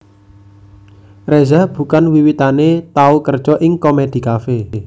Reza Bukan wiwitané tau kerja ing Komedi Kafe